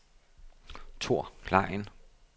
Thor Klein